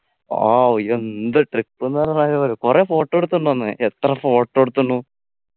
ഓ ഈ എന്ത് trip ന്ന് പറഞ്ഞ കൊറേ photo എടുത്തു തോന്ന് എത്ര photo എടുത്തുണു